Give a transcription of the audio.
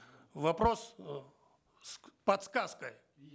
вопрос ы с подсказкой